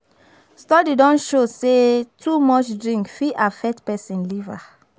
Study don show sey too much drink fit affect person liver